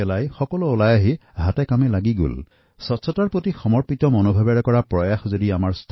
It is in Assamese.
স্বচ্ছতাৰ বাবে সংঘবদ্ধ হৈ কাম কৰাৰ এনে এক অনুপম উদাহৰণ জমীয়তউলেমাএহিন্দৰ কৰ্মকৰ্তাসকলে প্ৰস্তুত কৰিছে যি সকলোকে প্ৰেৰণা দিব